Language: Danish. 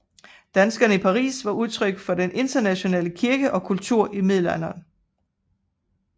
Danskerne i Paris var udtryk for den internationale kirke og kultur i middelalderen